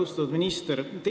Austatud minister!